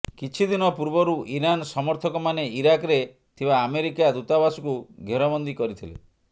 କିଛି ଦିନ ପୂର୍ବରୁ ଇରାନ ସମର୍ଥକମାନେ ଇରାକରେ ଥିବା ଆମେରିକା ଦୂତାବାସକୁ ଘେରବନ୍ଦୀ କରିଥିଲେ